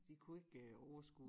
De kunne ikke øh overskue